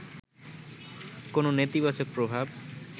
কোন নেতিবাচক প্রভাব